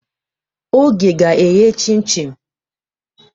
Oge ga-eghe chim-chim.